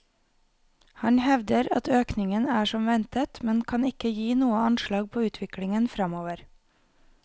Han hevder at økningen er som ventet, men kan ikke gi noe anslag på utviklingen fremover.